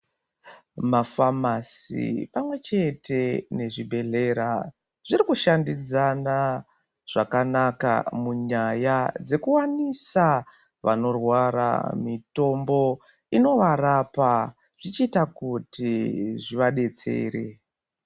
Mafamasi pamwe chete nezvibhedhleya zviri kufambidzana zvakanaka munyaya dzekuwanisa vaanorwara mitombo inovarapa zvichiita kuti zvivadetsere.